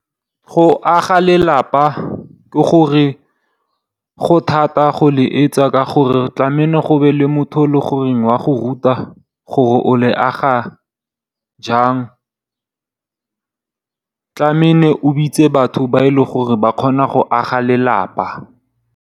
Go aga lelapa go thata go le etsa ka gore tlamele go be le motho o le gore wa go ruta gore o le aga jang. Tlameile o bitse batho ba e leng gore ba kgona go aga lelapa.